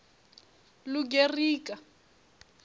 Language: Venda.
lugerika